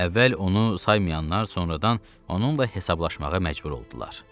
Əvvəl onu saymayanlar sonradan onunla hesablaşmağa məcbur oldular.